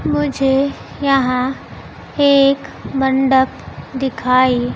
मुझे यहां एक मंडप दिखाई।